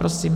Prosím.